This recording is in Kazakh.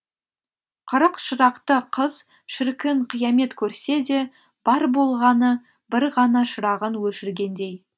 қырық шырақты қыз шіркін қиямет көрсе де бар болғаны бір ғана шырағын өшіргендей